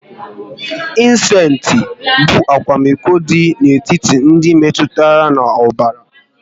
Ịsensti bụ akwamiko dị n'etiti ndị metụtara n'ọbara